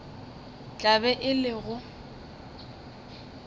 tla be e le go